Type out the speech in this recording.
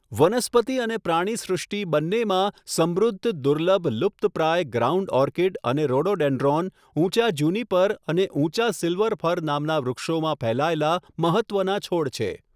વનસ્પતિ અને પ્રાણીસૃષ્ટિ બંનેમાં સમૃદ્ધ, દુર્લભ, લુપ્તપ્રાય ગ્રાઉન્ડ ઓર્કિડ અને રોડોડેન્ડ્રોન ઊંચા જ્યુનિપર અને ઉંચા સિલ્વર ફર નામના વૃક્ષોમાં ફેલાયેલા મહત્ત્વના છોડ છે.